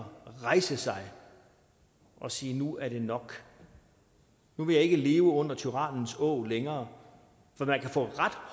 rejse sig og sige nu er det nok nu vil jeg ikke leve under tyrannens åg længere for man kan få ret